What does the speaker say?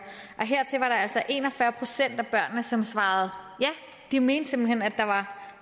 hertil var der altså en og fyrre procent af børnene som svarede ja de mente simpelt hen at der var